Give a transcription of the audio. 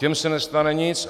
Těm se nestane nic.